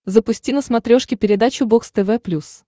запусти на смотрешке передачу бокс тв плюс